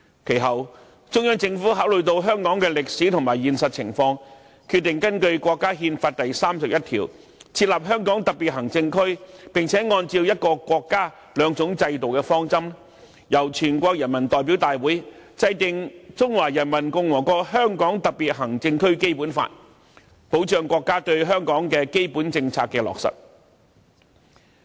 其後，中央政府考慮到香港的歷史和現實情況，決定根據國家憲法第三十一條，設立香港特別行政區，並按照"一個國家，兩種制度"的方針，由全國人民代表大會制定《中華人民共和國香港特別行政區基本法》，為國家落實對香港的基本政策提供保障。